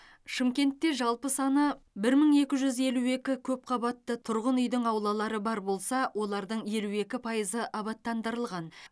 шымкентте жалпы саны бір мың екі жүз елу екі көпқабатты тұрғын үйдің аулалары бар болса олардың елу екі пайызы абаттандырылған